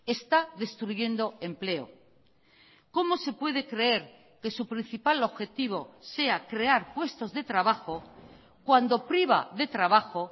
está destruyendo empleo cómo se puede creer que su principal objetivo sea crear puestos de trabajo cuando priva de trabajo